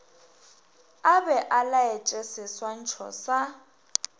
a be a laetšeseswantšho sa